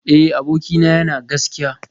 Eh abokina yana gaskiya